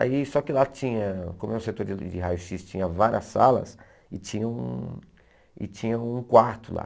Aí só que lá tinha, como é um setor de de de raio xis, tinha várias salas e tinha um e tinha um quarto lá.